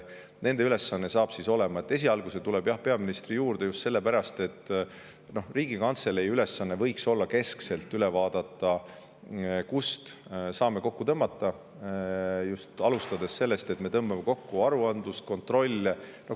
Esialgu see tuleb, jah, peaministri juurde, just sellepärast, et Riigikantselei ülesanne võiks olla see, et vaadata keskselt üle, kust me saame kokku tõmmata, alustades sellest, et me tõmbame kokku aruandlust ja kontrolle.